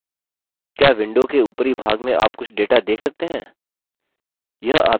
क्या window के upper भाग में आप कुछ data देख सकते हैं